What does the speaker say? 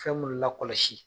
Fɛn mun lakɔlɔsi